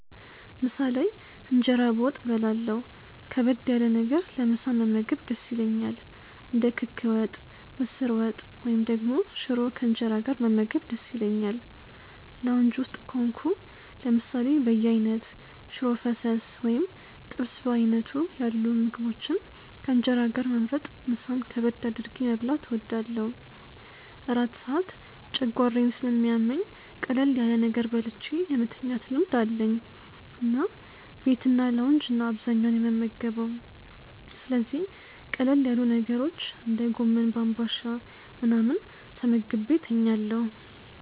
ምሳ ላይ እንጀራ በወጥ በላለሁ ከበድ ያለ ነገር ለምሳ መመገብ ደስ ይለኛል። እንደ ክክ ወጥ፣ ምስር ወጥ፣ ወይም ደግሞ ሽሮ ከእንጀራ ጋር መመገብ ደስ ይለኛል። ላውንጅ ውስጥ ከሆንኩ ለምሳሌ በየአይነት፣ ሽሮ ፈሰስ ወይም ጥብስ በዓይነቱ ያሉ ምግቦችን ከእንጀራ ጋር መምረጥ ምሳን ከበድ አድርጌ መብላት እወዳለሁ። እራት ሰዓት ጨጓራዬን ስለሚያመኝ ቀለል ያለ ነገር በልቼ የመተኛት ልማድ አለኝ እና ቤትና ላውንጅ ነው አብዛኛውን የምመገበው ስለዚህ ቀለል ያሉ ነገሮች እንደ ጎመን በአንባሻ ምናምን ተመግቤ ተኛለሁ።